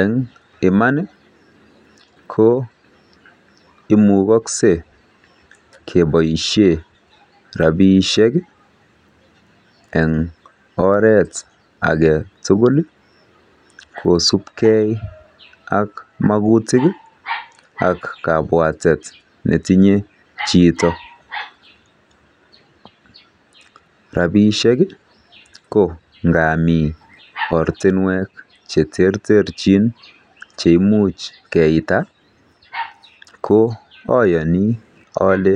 Eng iman ko imugoskei keboishe rapishek eng oret age tugul kosupgei ak mogutik ak kabwatet netinye chito. Rapishek ko ngami ortinwek che terterchin che imuch keita ko ayoni ale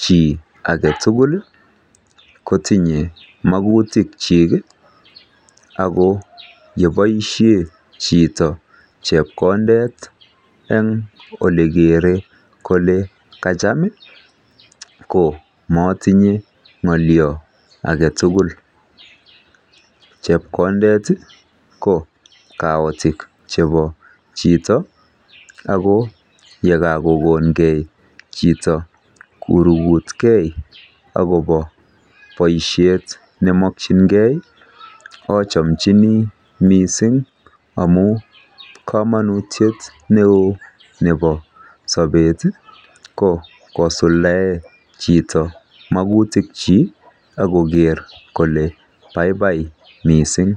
chi age tugul kotinyei magutichik. Ako yeboishe chito chepkondet eng ole kerei kole kacham ko matinye ng'olio age tugul. Chepkondet ko kaotik chebo chito ako yekakokongei chito korugutkei akobo boishet nemakchingei achamchinimising amu komonutiet neo nebo sobet ko kosuldae chito magutik chi akoker kole baibai mising.